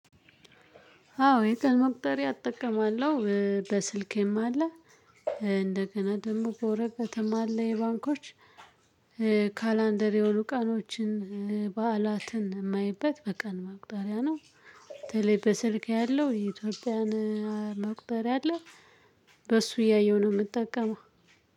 አዎ የቀን መቁጠሪያ እጠቀማለሁ በ ስልኬም አለ። እንደገና ደግሞ በወረቀትም አለ የ ባንኮች። ካላንደር የሆኑ ቀናቶችን ባአላትን የማይበት በቀን መቁጠሪያ ነው። በተለይ በስልኬ ያለው የ ኢትዮጵያን መቁጠሪያ አለ። በእሱ እያየው ነው የምጠቀመው።